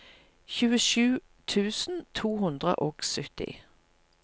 tjuesju tusen to hundre og sytti